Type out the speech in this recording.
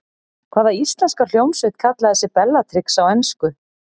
Hvaða íslenska hljómsveit kallaði sig Bellatrix á ensku?